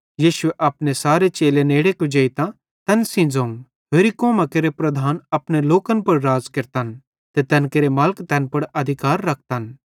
यीशुए अपने सारे चेले नेड़े कुजेइतां तैन सेइं ज़ोवं होरि कौमां केरे प्रधान अपने लोकन पुड़ राज़ केरतन ते तैन केरे मालिक तैन पुड़ अधिकार रखतन